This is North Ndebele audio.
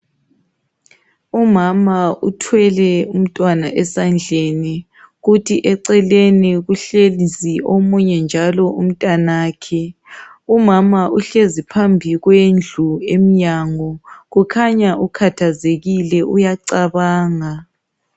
Umama uthwele umntwana esandleni kuthi eceleni kuhlezi omunye njalo umntanakhe umama uhlezi phambi kwendlu enyango kukhanya ukhathazekile uyacabanga